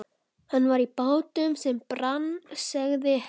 Hann var í bátnum sem brann, sagði Heiða.